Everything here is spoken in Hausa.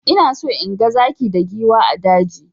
Ina so inga zaki da giwa a daji.